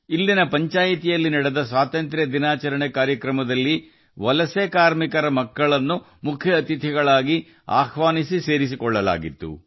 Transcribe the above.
ಇಲ್ಲಿ ಪಂಚಾಯತ್ನ ಸ್ವಾತಂತ್ರ್ಯ ದಿನಾಚರಣೆ ಕಾರ್ಯಕ್ರಮದಲ್ಲಿ ವಲಸೆ ಕಾರ್ಮಿಕರ ಮಕ್ಕಳನ್ನು ಮುಖ್ಯ ಅತಿಥಿಗಳಾಗಿ ಕರೆಸಿ ಗೌರವಿಸಲಾಯಿತು